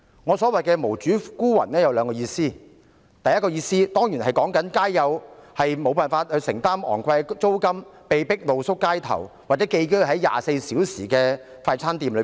我所說的"無主孤魂"有兩個意思：第一，當然是指他們無法承擔昂貴租金，因此被迫露宿街頭，或寄居在24小時營業的快餐店。